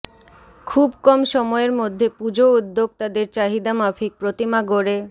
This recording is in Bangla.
খুব কম সময়ের মধ্যে পুজো উদ্যোক্তাদের চাহিদামাফিক প্রতিমা গড়ে